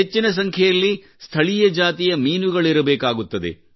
ಹೆಚ್ಚಿನ ಸಂಖ್ಯೆಯಲ್ಲಿ ಸ್ಥಳೀಯ ಜಾತಿಯ ಮೀನುಗಳಿರಬೇಕಾಗುತ್ತದೆ